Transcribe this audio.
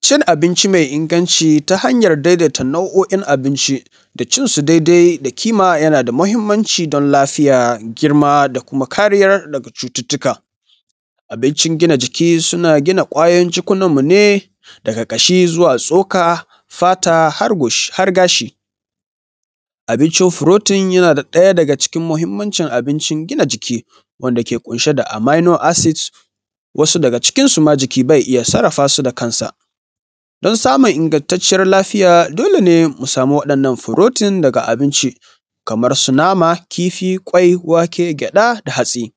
Cin abinci mai inganci ta hanyan daidaita nau'oin abinci da cin su daidai da kima yana da mahimmanci don lafiya, girma da kuma kariya daga cututuka. Abincin gina jiki suna gina ƙwayoyin jikunan mu ne daga ƙashi zuwa tsoka, fata har gashi. Abincin fruiting yana ɗaya daga cikin mahimmanci abinci gina jiki wanda ke ƙunshe da amino acid, wasu daga cikin su ma jiki bai iya sarrafa su da kansa, don samun inganciyar lafiya dole ne a samu wa'innan fruiting daga abinci kamar su nama, kifi, ƙwai, wake, gyaɗa da hatsi